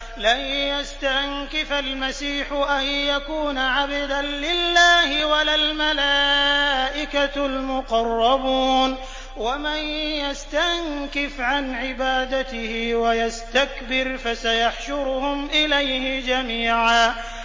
لَّن يَسْتَنكِفَ الْمَسِيحُ أَن يَكُونَ عَبْدًا لِّلَّهِ وَلَا الْمَلَائِكَةُ الْمُقَرَّبُونَ ۚ وَمَن يَسْتَنكِفْ عَنْ عِبَادَتِهِ وَيَسْتَكْبِرْ فَسَيَحْشُرُهُمْ إِلَيْهِ جَمِيعًا